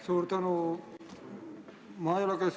Suur tänu!